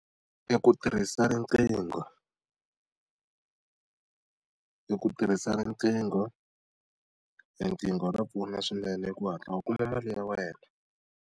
I ku tirhisa riqingho I ku tirhisa riqingho, riqingho ra pfuna swinene ku hatla u kuma mali ya wena.